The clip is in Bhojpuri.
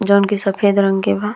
जोवन की सफेद रंग के बा।